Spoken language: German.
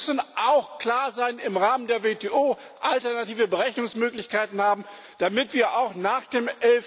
Wir müssen auch klar sein im Rahmen der WTO, alternative Berechnungsmöglichkeiten haben, damit wir auch nach dem